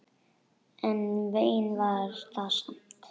En vein var það samt.